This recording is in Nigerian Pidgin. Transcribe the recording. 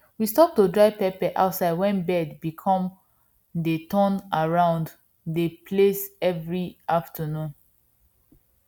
we stop to dry pepper outside wen birds become dey turn around dey place every afternoon